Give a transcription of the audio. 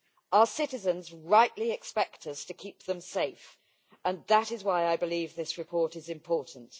Our citizens rightly expect us to keep them safe, and that is why I believe this report is important.